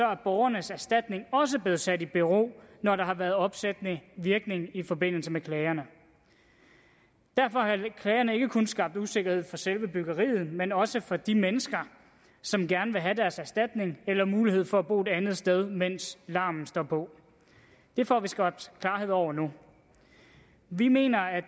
er borgernes erstatning også blevet sat i bero når der har været opsættende virkning i forbindelse med klagerne derfor har klagerne ikke kun skabt usikkerhed for selve byggeriet men også for de mennesker som gerne vil have deres erstatning eller mulighed for at bo et andet sted mens larmen står på det får vi skabt klarhed over nu vi mener at